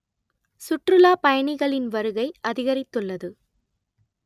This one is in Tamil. சுற்றுலா பயணிகளின் வருகை அதிகரித்துள்ளது